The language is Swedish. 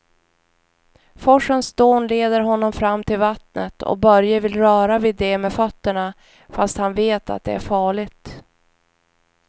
Forsens dån leder honom fram till vattnet och Börje vill röra vid det med fötterna, fast han vet att det är farligt.